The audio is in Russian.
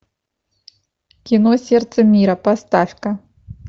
кино сердце мира поставь ка